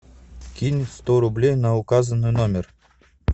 кинь сто рублей на указанный номер